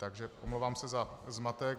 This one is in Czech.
Takže omlouvám se za zmatek.